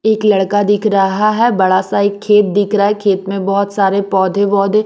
एक लड़का दिख रहा है बड़ा सा एक खेत दिख रहा है खेत में बहुत सारे पौधे-बौधे--